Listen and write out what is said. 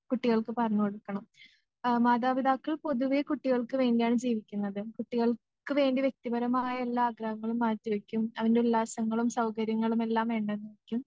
കുട്ടികൾക്ക് പറഞ്ഞു കൊടുക്കണം.ആ മാതാപിതാക്കൾ പൊതുവേ കുട്ടികൾക്ക് വേണ്ടിയാണ് ജീവിക്കുന്നത് കുട്ടികൾക്ക് വേണ്ടി വ്യക്തിപരമായ എല്ലാ കാര്യങ്ങളും മാറ്റിവെയ്ക്കും അവൻ്റെ ഉല്ലാസങ്ങളും സൗകര്യങ്ങളുമെല്ലാം വേണ്ടെന്ന് വെയ്ക്കും